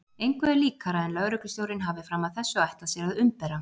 Engu er líkara en lögreglustjórinn hafi fram að þessu ætlað sér að umbera